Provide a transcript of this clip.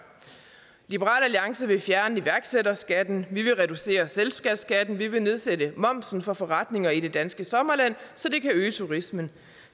liberal alliance vil fjerne iværksætterskatten vi vil reducere selskabsskatten vi vil nedsætte momsen for forretninger i det danske sommerland så det kan øge turismen